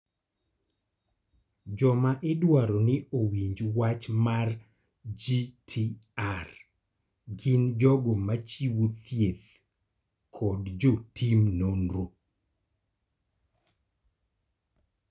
Joma idwaro ni owinj wach mar GTR gin jogo ma chiwo thieth kod jotim nonro.